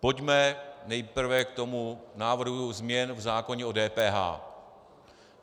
Pojďme nejprve k tomu návrhu změn v zákoně o DPH.